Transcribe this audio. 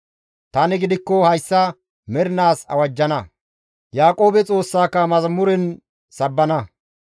Tani gidikko hayssa mernaas awajjana; Yaaqoobe Xoossaka mazamuren sabbana.